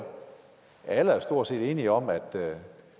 alle er stort set enige om at